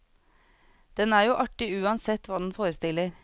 Den er jo artig uansett hva den forestiller.